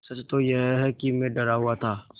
सच तो यह है कि मैं डरा हुआ था